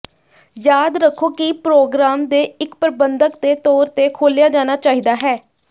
ਯਾਦ ਰੱਖੋ ਕਿ ਪ੍ਰੋਗਰਾਮ ਦੇ ਇੱਕ ਪਰਬੰਧਕ ਦੇ ਤੌਰ ਤੇ ਖੋਲ੍ਹਿਆ ਜਾਣਾ ਚਾਹੀਦਾ ਹੈ